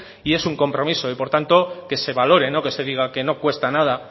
y es un compromiso y por tanto que se valore no que se diga que no cuesta nada